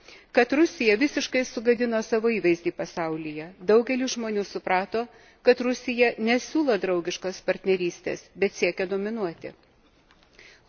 Pažymėsiu, kad Rusija visiškai sugadino savo įvaizdį pasaulyje daugelis žmonių suprato, kad Rusija nesiūlo draugiškos partnerystės, bet siekia dominuoti.